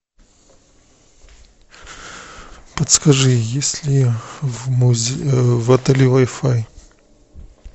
подскажи есть ли в отеле вай фай